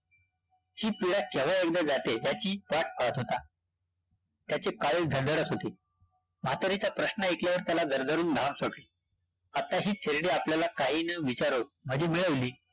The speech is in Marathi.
ही पिडा केव्हा एकदा जाते त्याची वाट पाहत होता, त्याचे कारण होते, म्हातारीचा प्रश्न ऐकल्यावर त्याला दरदरुन घाम सुटला, आत्ता ही थेरडी आपल्याला काही न विचारुन माझी मिळवली